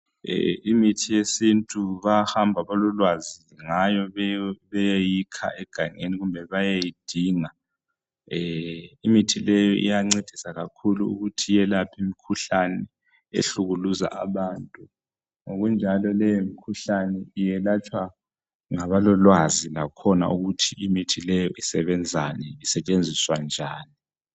Imithi yesintu bayahamba abalolwazi ngayo beyeyikha egangeni kumbe beyeyidinga. Imithi le iyancedisa kakhulu ukuthi iyelaphe imikhuhlane ehlukuluza abantu. Ngokunjalo leyo mkhuhlane iyelatshwa ngabalolwazi lakhona ukuthi imithi leyi isebenzani isetshenziswa njani.